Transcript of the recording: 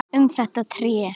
Um þetta tré.